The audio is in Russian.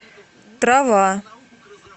трава